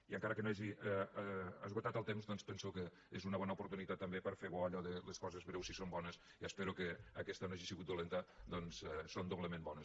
i encara que no hagi esgotat el temps doncs penso que és una bona oportunitat també per fer bo allò de les coses breus si són bones i espero que aquesta no hagi sigut dolenta són doblement bones